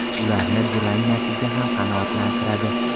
Ularni durang natija ham qanoatlantiradi.